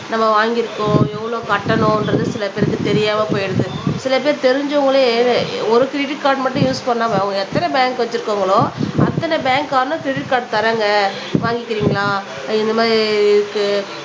நம்ம வாங்கியிருக்கோம் எவ்வளவு கட்டணும்ன்றது சில பேருக்கு தெரியாம போயிடுது சில பேர் தெரிஞ்சவங்களே ஒரு கிரெடிட் கார்டு மட்டும் யூஸ் பண்ணாம அவங்க எத்தனை பேங்க் வச்சிருக்காங்களோ அத்தனை பேங்க்காரனும் கிரெடிட் கார்டு தர்றாங்க வாங்கிக்கிறீங்களா உம் இந்த மாதிரி இருக்கு